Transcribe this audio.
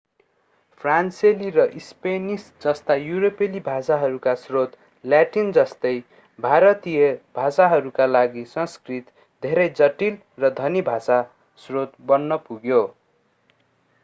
फ्रान्सेली र स्पेनिश जस्ता युरोपेली भाषाहरूका स्रोत ल्याटिन जस्तै भारतीय भाषाहरूका लागि संस्कृत धेरै जटिल र धनी भाषा स्रोत बन्न पुग्यो